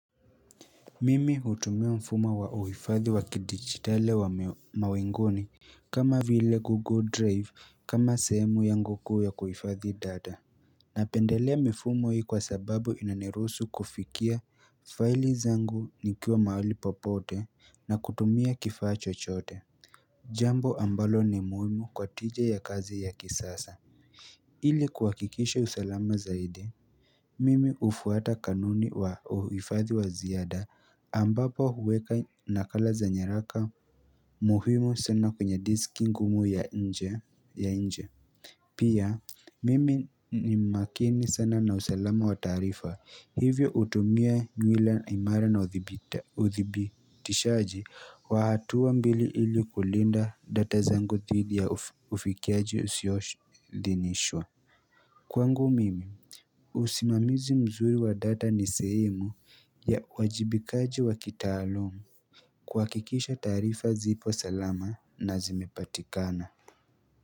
Mimi hutumia mfumo wa uhifadhi wa kidigitali wa mawinguni kama vile google drive kama sehemu yangu kuu ya kuifadhi data Napendelea mifumo hii kwa sababu inaniruhusu kufikia fiali zangu nikiwa mahali popote na kutumia kifaa chochote Jambo ambalo ni muimu kwa tija ya kazi ya kisasa ili kuhakikishe usalama zaidi Mimi ufuata kanuni wa uhifadhi wa ziyada ambapo uweka nakala za nyaraka muhimu sana kwenye diski ngumu ya nje. Pia, mimi ni makini sana na usalama wa tarifa. Hivyo utumia nywila imara na uthibitishaji wa hatuwa mbili ili kulinda data zangu thidhi ya ufikiaji usiyo dhinishwa. Kwangu mimi usimamizi mzuri wa data ni sehemu ya uwajibikaji wa kitaalum kuhakikisha taarifa zipo salama na zimepatikana.